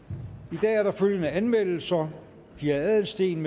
i dag er der følgende anmeldelser pia adelsteen